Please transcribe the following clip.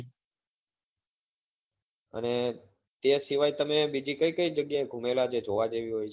અને તે સિવાય તમે બીજી કઈ કઈ જગ્યા એ ગુમેલા જે જોવા જેવી હોય છે?